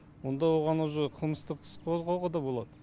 онда оған уже қылмыстық іс қозғауға да болады